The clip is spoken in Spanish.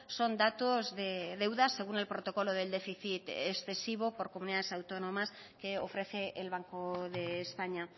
son datos de deuda según el protocolo del déficit excesivo por comunidades autónomas que ofrece el banco de españa